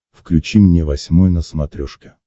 включи мне восьмой на смотрешке